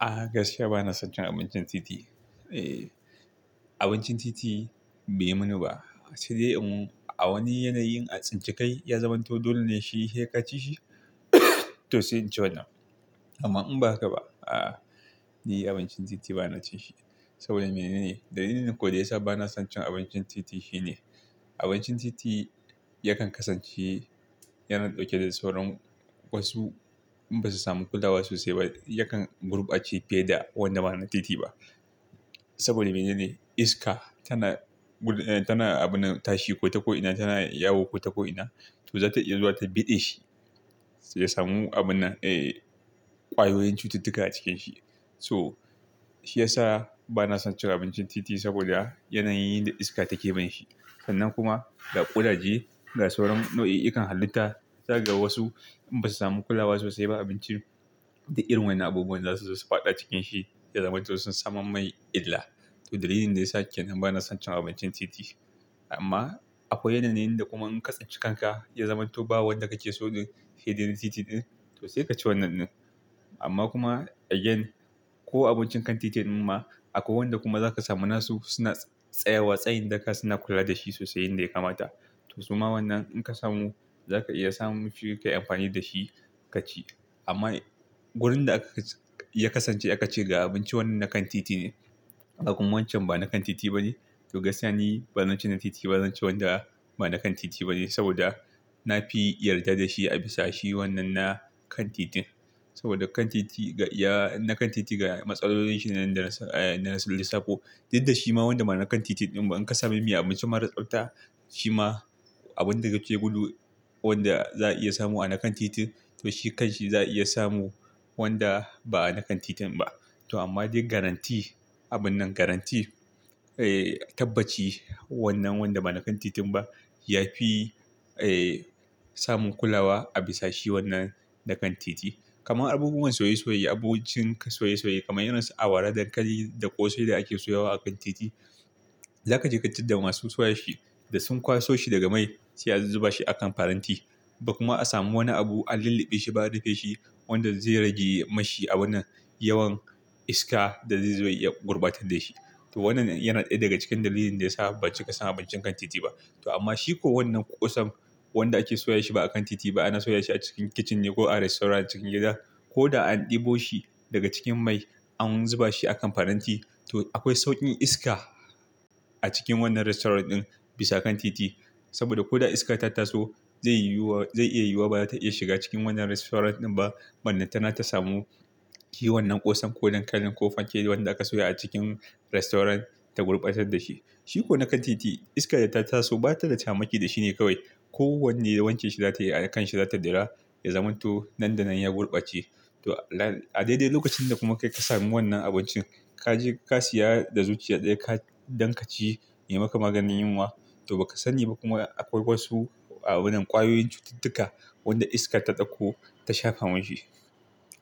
A gaskiya bana son cin abincin titi. Abincin titi bai yi mini ba. Sai dai in a wani yanayin an tsinci kai ya zamanto dole ne shi, sai ka ci shi. To sai in ci wannan. Amma in ba haka ba, a'a. Ni abincin titi bana cin shi saboda mene ne? Dalilin kuwa da yasa bana son abincin titi shine abincin titi yakan kasance yana ɗauke da sauran wasu in basu samu kulawa sosai ba, yakan gurɓace fiye da wanda ba na titi ba. Saboda mene ne? Iska tana abin nan tashi ko ta ko'ina, tana yawo ko ta ko'ina. To za ta iya zuwa ta biɗe shi, ya samu abun nan, eeh ƙwayoyin cututtuka a cikin shi. So shi ya sa bana son cin abincin titi saboda yana yin da iska take binshi shi. Sannan kuma ga ƙudaje, ga sauran nau'ikan halitta, zai ga wasu in basu samu kulawa sosai ba za kaga abinci, duk irin wannan abubuwan zasu zo su faɗa cikin shi ya zamanto sun samo mai illa. To dalilin da yasa kenan bana son cin abincin titi. Amma akwai yanayin da kuma in ka tsinci kanka ya zamanto ba wanda kake so ne saidai titi ɗin, to sai ka ci wannan ɗin. Amma kuma again ko abincin kan titin ma akwai wanda kuma za ka samu nasu suna tsayawa. Tsayin daka suna kula da shi sosai yanda ya kamata. To suma wannan in ka samu, za ka iya samun shi ka yi amfani da shi ka ci. Amma wurin da aka, ya kasance aka ce ga abinci wannan na kan titi ne. Ga kuma wancan ba na kan titi ba ne. To gaskiya ni, ban ci na titi ba, zan ci wanda ba na kan titi ba ne saboda na fi yarda da shi a bisa shi wannan na kan titin. Saboda kan titi ga ya, na kan titi ga matsalolinsa nan da na, eeh na lissafo Dik da shi ma wanda ma na kan titin ɗin ba in ka sami mai abinci mara tsafta, shi ma abun da kake gudu wanda za a iya samu a na kan titin to shi kanshi za a iya samu wanda ba a na kan titin ba. To amma dai guarantee, abun nan guarantee, ee tabbaci wannan wanda ba na kan titin ba, ya fi, ee samun kulawa a bisa shi wannan na kan titi. Kaman abubuwan soye soye, abincin soye- soye kamar irin su awara, dankali da ƙosai da ake soyawa a kan titi. Za ka je ka tadda masu soya shi da sun kwaso shi daga mai sai a zuba shi a kan faranti. Ba kuma a samu wani abu an lulluɓe shi ba an rufe shi wanda zai rage mashi a wannan yawan iska da zai iya gurɓatar da shi. To wannan yana ɗaya daga cikin dalilin da ya sa ban cika san abincin kan titi ba. To amma shi ko wannan ƙosan wanda ake soya shi ba a kan titi ba, ana soya shi a cikin kitchen ne ko a restaurant cikin gida. Ko da an ɗebo shi daga cikin mai an zuba shi a kan faranti. To akwai sauƙin iska a cikin wannan restaurant ɗin bisa kan titi. Saboda ko da iska ta taso zai yiwu wa, zai iya yiwuwa ba za ta iya shiga cikin wannan restaurant ɗin ba. Ballantana ta samu shi wannan ƙosan ko dankalin ko fanke wanda aka soya a cikin restaurant ta gurɓatar da shi. Shi ko na kan titi iskar da ta taso ba ta da shamaki da shi ne kawai. Ko wanne wanke shi za ta yi a kan shi za ta dia ya zamanto nan da nan ya gurɓace. To a dai dai lokacin da kuma kai ka samu wannan abincin, ka je ka siya da zuciya ɗaya don ka ci ya maka maganin yunwa. To ba ka sani ba kuma akwai wasu a wannan ƙwayoyin cututtuka wanda iskar ta ɗauko ta shafa mashi.